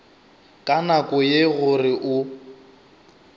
ka nako ye gore o